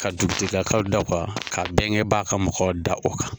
Ka dugutigilakaw da o kan , ka bɛnkɛ ba ka mɔgɔw da o kan.